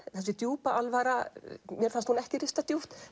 þessi djúpa alvara mér fannst hún ekki rista djúpt